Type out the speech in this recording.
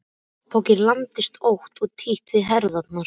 Bakpokinn lamdist ótt og títt við herðarnar.